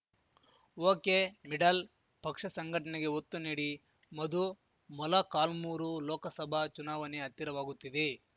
ಒಕೆಮಿಡಲ್‌ಪಕ್ಷ ಸಂಘಟನೆಗೆ ಒತ್ತು ನೀಡಿ ಮಧು ಮೊಲಕಾಲ್ಮುರು ಲೋಕಸಭಾ ಚುನಾವಣೆ ಹತ್ತಿರವಾಗುತ್ತಿದೆ